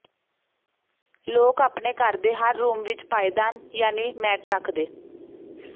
ਲੋਕ ਆਪਣੇ ਘਰ ਦੇ ਹਰ ਰੂਮ ਵਿਚ ਪਾਏਦਾਨ ਯਾਨੀ ਮੈਟ ਰੱਖਦੇ